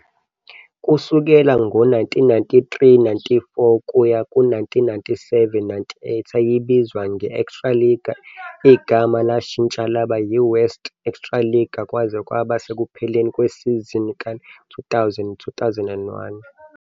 Kusukela ngo-1993, 94 kuya ku-1997, 98, yayibizwa nge- "Extraliga", igama lashintsha laba "yiWest Extraliga" kwaze kwaba sekupheleni kwesizini ka-2000, 2001.